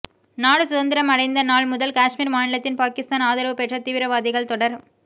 நாடுசுதந்திரம் அடைந்த நாள் முதல் காஷ்மீர் மாநிலத்தில் பாகிஸ்தான் ஆதரவு பெற்ற தீவிரவாதிகள் தொடர்